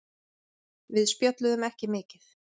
Við spjölluðum ekki mikið.